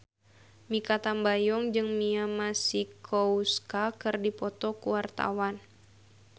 Mikha Tambayong jeung Mia Masikowska keur dipoto ku wartawan